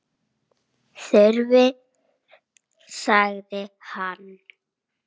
Þyrftir sagði hann.